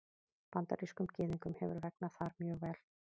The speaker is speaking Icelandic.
Bandarískum Gyðingum hefur vegnað þar mjög vel.